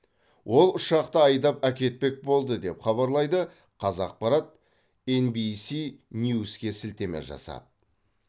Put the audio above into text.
ол ұшақты айдап әкетпек болды деп хабарлайды қазақпарат енбиси нюске сілтеме жасап